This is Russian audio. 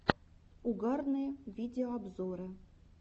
угарные видеообзоры